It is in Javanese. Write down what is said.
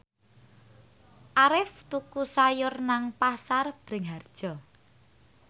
Arif tuku sayur nang Pasar Bringharjo